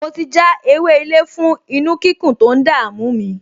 Mo ti já ewé-ilé fún inú-kíkún tó ń dààmú mi